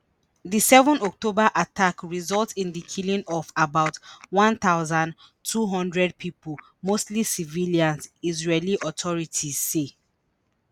di 7 october attack result in di killing of about 1200 pipo mostly civilians israeli authorities say.